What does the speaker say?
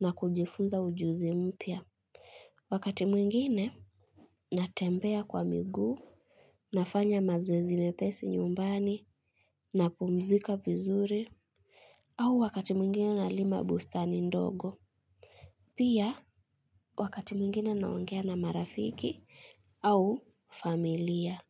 na kujifuza ujuzi mpya. Wakati mwingine natembea kwa miguu, nafanya mazoezi mepesi nyumbani napumzika vizuri au wakati mwingine nalima bustani ndogo. Pia wakati mwingine naongea na marafiki au familia.